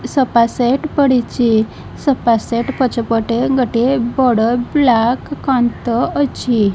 Sofa set ପଡ଼ିଚି sofa set ପଛ ପଟେ ଗୋଟିଏ ବଡ ବ୍ଲାକ କାନ୍ଥ ଅଛି।